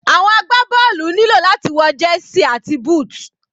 Àwọn agbá bọ́ọ̀lù nílò láti wọ jersey àti booth.